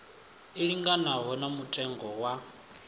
i linganaho na mutengo wa